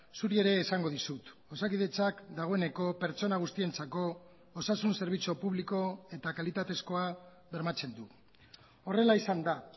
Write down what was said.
zuri ere esango dizut osakidetzak dagoeneko pertsona guztientzako osasun zerbitzu publiko eta kalitatezkoa bermatzen du horrela izan da